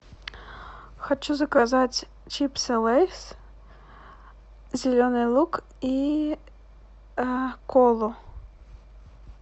хочу заказать чипсы лейс зеленый лук и колу